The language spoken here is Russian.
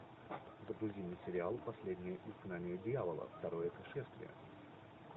загрузи мне сериал последнее изгнание дьявола второе пришествие